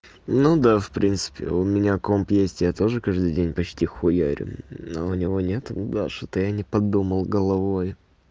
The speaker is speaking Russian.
ну да в принципе у меня компьютер есть я тоже каждый день почти хуярю но у него нет да что-то я не подумал головой